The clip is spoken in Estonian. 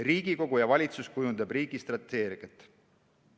Riigikogu ja valitsus kujundab riigi strateegiat.